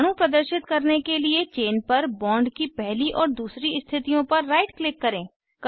परमाणु प्रदर्शित करने के लिए चेन पर बॉन्ड की पहली और दूसरी स्थितियों पर राइट क्लिक करें